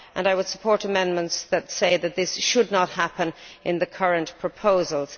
I would support amendments to the effect that this should not happen in the current proposals.